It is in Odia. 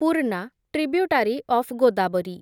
Purna, tributary of Godavari